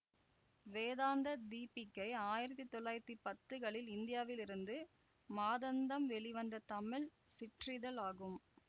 வேதாந்த தீபிகை ஆயிரத்தி தொள்ளாயிரத்தி பத்துகளில் இந்தியாவில் இருந்து மாதந்தம் வெளிவந்த தமிழ் சிற்றிதழ் ஆகும்